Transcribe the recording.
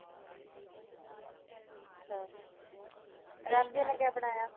ਅੱਛਾ। ਨੇ ਕਿਆ ਬਣਾਇਆ।